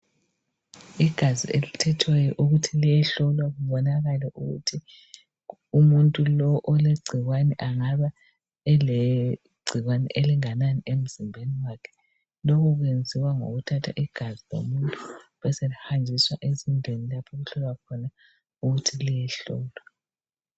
Igazi selithethweyo ukuthi liyehlolwa kubonakale ukuthi umuntu lo olegcikwane angabe elegcikwane elinganani emzimbeni wakhe. Lokhu kwenziwa ngokuthatha igazi lomuntu beselihanjiswa ezindlini lapho okuhlolwa khona ukuthi liyehlolwa.